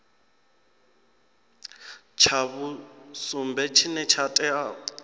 tsha vhusumbe tshine tsha tea